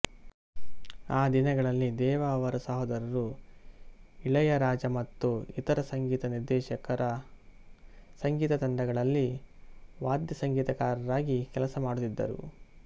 ಆ ದಿನಗಳಲ್ಲಿ ದೇವ ಅವರ ಸಹೋದರರು ಇಳಯರಾಜ ಮತ್ತು ಇತರ ಸಂಗೀತ ನಿರ್ದೇಶಕರ ಸಂಗೀತ ತಂಡಗಳಲ್ಲಿ ವಾದ್ಯಸಂಗೀತಕಾರರಾಗಿ ಕೆಲಸ ಮಾಡುತ್ತಿದ್ದರು